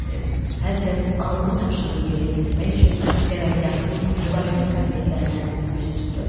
Hər kəs aldığı tapşırığı yerinə yetirmək üçün qərargahın müvafiq kabinetlərinə üz tutdu.